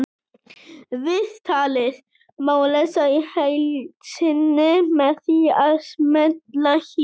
Viðtalið má lesa í heild sinni með því að smella hér